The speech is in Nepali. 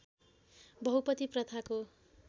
बहुपति प्रथाको